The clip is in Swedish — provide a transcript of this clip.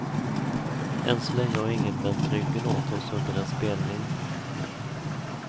Än så länge har ingen vänt ryggen åt oss under en spelning.